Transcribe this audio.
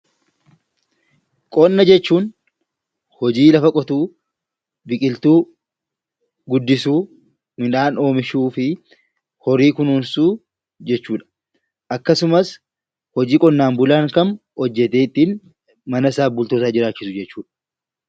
Qonna jechuun hojii lafa qotuu , biqiltuu guddisuu, midhaan oomishuu fi horii kunuunsuu jechuudha. Akkasumas hojii qonnaan bulaan kam hojjatee ittiin manasaa bultoosaa jiraachisu jechuudha.